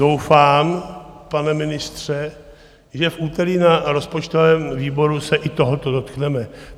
Doufám, pane ministře, že v úterý na rozpočtovém výboru se i tohoto dotkneme.